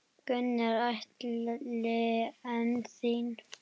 Gunnar Atli: En þín?